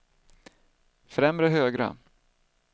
främre högra